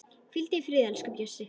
Hvíldu í friði, elsku Bjössi.